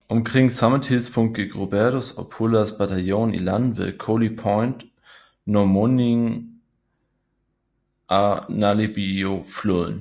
Omkring samme tidspunkt gik Rupertus og Pullers bataljon i land ved Koli Point nær mundingen af Nalimbiufloden